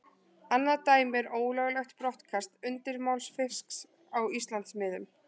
Annað dæmi er ólöglegt brottkast undirmálsfisks á Íslandsmiðum.